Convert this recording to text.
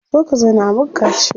Zo ka zauna a maka kaciya.